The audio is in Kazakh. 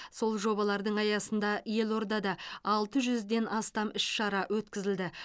сол жобалардың аясында елордада алты жүзден астам іс шара өткізілді